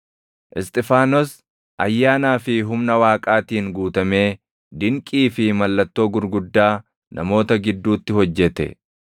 Isxifaanos ayyaanaa fi humna Waaqaatiin guutamee dinqii fi mallattoo gurguddaa namoota gidduutti hojjette.